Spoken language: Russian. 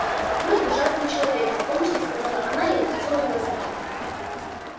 вы ужасный человек беспомощно сказала она и опустила глаза